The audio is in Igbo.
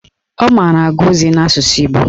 Ọ mara agụ ozi n'asụsụ Igbo